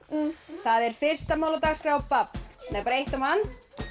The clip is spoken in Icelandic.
það er fyrsta mál á dagskrá babb bara eitt á mann